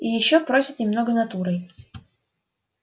и ещё просят немного натурой